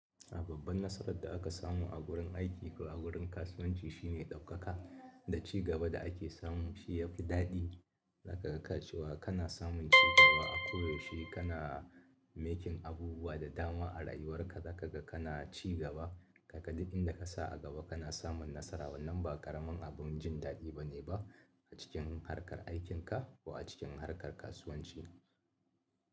A babban nasarar da aka samu a gurin aiki ko a gurin kasuwanci shine ɗaukaka da ci gaba da ake samu shi yafi daɗi. Zakaga cewa kana samun cigaba a koyaushe kana making abubuwa da dama a rayuwarka, zakaga kana cigaba, kaga duk inda ka sa a gaba kana samun nasara. Wannan ba ƙaramin abun jin daɗi bane ba a cikin harkar aikinka ko a cikin harkar kasuwanci.